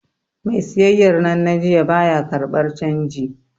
Mai siyayyar nan na jiya, ba ya karɓar canji.